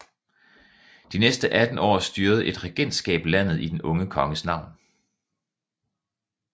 De næste 18 år styrede et regentskab landet i den unge konges navn